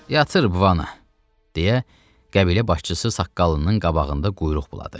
Yatır, vana, deyə qəbilə başçısı saqqalının qabağında quyruq buladı.